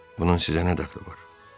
Bunun sizə nə dəxli var?”